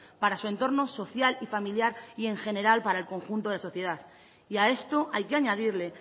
para su entorno social y familiar y en general para el conjunto de la sociedad y a esto hay que añadirle